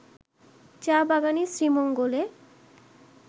চা-বাগানই শ্রীমঙ্গলে